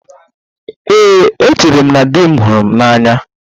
Ee, echere m na di m hụrụ m n'anya